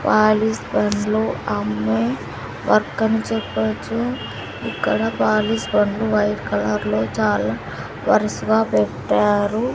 Wallis bus లో అమ్మాయ్ work అని చెప్పొచ్చు ఇక్కడ వాలిస్ బండ్లు వైట్ కలర్లో చాలా వరుసగా పెట్టారు.